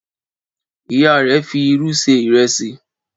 Ìyá rẹ̀ fi ìru ṣe ìrẹsì.